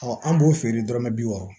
an b'o feere dɔrɔmɛ bi wɔɔrɔ